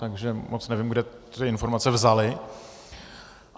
Takže moc nevím, kde ty informace vzaly.